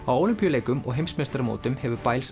á Ólympíuleikum og heimsmeistaramótum hefur